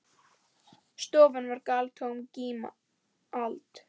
Stofan var galtómt gímald.